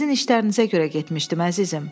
Sizin işlərinizə görə getmişdim, əzizim.